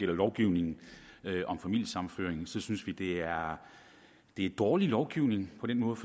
gælder lovgivningen om familiesammenføring synes det er dårlig lovgivning på den måde